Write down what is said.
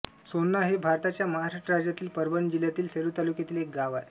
सोन्ना हे भारताच्या महाराष्ट्र राज्यातील परभणी जिल्ह्यातील सेलू तालुक्यातील एक गाव आहे